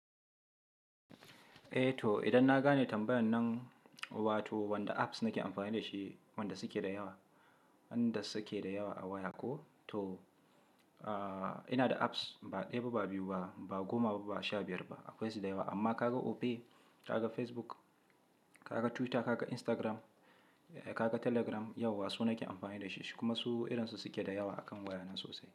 Eh to idan na gane tambayan nan, wato wanda apps nake amfani da shi wanda suke da yawa, wanda suke da yawa a waya ko to, ina da apps ba ɗaya ba, ba biyu ba, ba goma ba, ba sha biyar ba akwai su da yawa amma ka ga Opay, ka ga Facebook, ka ga Twitter, ka ga Instagram, ka ga Telegram, yauwa su nake amfani da shi sh kuma su irin su suke da yawa a kan wayana sosai.